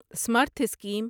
Samarth scheme